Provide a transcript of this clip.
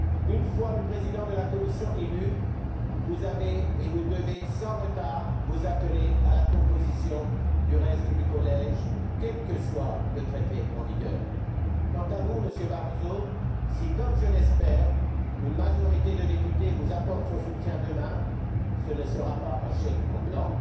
Une fois le président de la Commission élu, vous deviez, sans retard, vous atteler à la composition du reste du collège, quel que soit le traité en vigueur. Quant à vous, Monsieur Barroso, si, comme je l'espère, une majorité de députés vous apporte son soutien demain, ce ne sera pas un chèque en blanc.